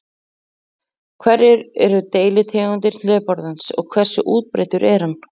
Hverjar eru deilitegundir hlébarðans og hversu útbreiddur er hann?